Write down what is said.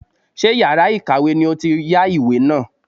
Ṣé yàrá ìkàwé ni ó ti yá ìwé náà.